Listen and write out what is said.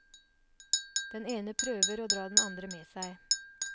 Den ene prøver å dra den andre med seg.